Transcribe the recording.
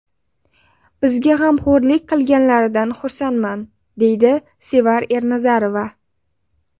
Bizga g‘amxo‘rlik qilganlaridan xursandman”, deydi Sevar Ernazarova.